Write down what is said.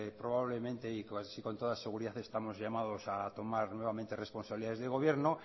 probablemente y casi con toda seguridad estamos llamados a tomar nuevamente responsabilidades de gobierno